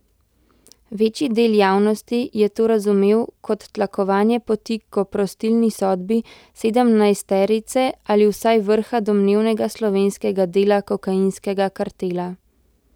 Večji del javnosti je to razumel kot tlakovanje poti k oprostilni sodbi sedemnajsterice ali vsaj vrha domnevnega slovenskega dela kokainskega kartela.